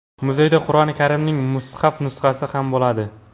Muzeyda Qur’oni Karimning mus’haf nusxasi ham bo‘ladi.